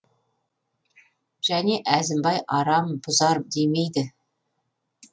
және әзімбай арам бұзар демейді